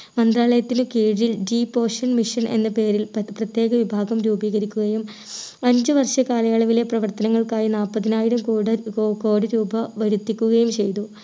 മന്ത്രാലയത്തിന് കീഴിൽ deep ocean machine എന്ന പേരിൽ പത പ്രത്യേക വിഭാഗം രൂപീകരിക്കുകയും അഞ്ചു വർഷ കാലയളവിലെ പ്രവർത്തനങ്ങൾക്കായി നാല്പതിനായിരം കോടൻ കോ കോടി രൂപ വരുത്തിക്കുകയും ചെയ്‌തു